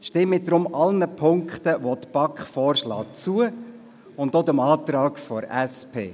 Stimmen Sie deshalb allen Punkten, welche die BaK vorschlägt, zu, und auch dem Antrag der SP.